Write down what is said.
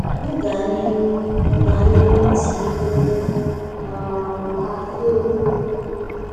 M gaa n'ihu M gaa n'ihu tinyewere um ha Ihe oriri?